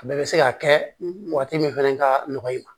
A bɛɛ bɛ se ka kɛ waati min fɛnɛ ka nɔgɔ i ma